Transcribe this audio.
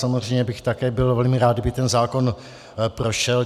Samozřejmě bych také byl velmi rád, kdyby ten zákon prošel.